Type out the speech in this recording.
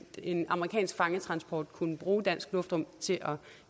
en amerikansk fangetransport kunne bruge dansk luftrum til at